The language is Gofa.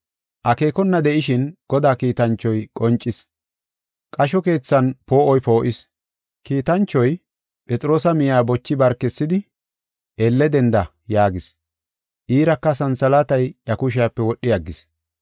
Akeekona de7ishin Godaa kiitanchoy qoncis. Qasho keethan poo7oy poo7is. Kiitanchoy Phexroosa miya bochi barkisidi, “Elle denda” yaagis. Iiraka santhalaatay iya kushiyape wodhi aggis.